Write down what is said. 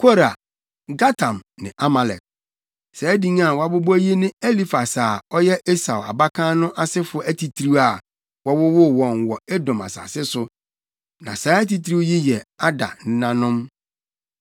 Kora, Gatam ne Amalek. Saa din a wɔabobɔ yi ne Elifas a ɔyɛ Esau abakan no asefo atitiriw a wɔwowoo wɔn wɔ Edom asase so. Na saa atitiriw yi yɛ Ada nenanom.